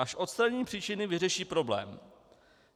Až odstraní příčiny, vyřeší problém.